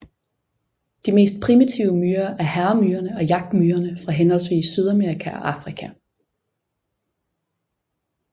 De mest primitive myrer er hærmyrerne og jagtmyrerne fra henholdsvis Sydamerika og Afrika